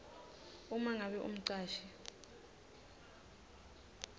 uma ngabe umcashi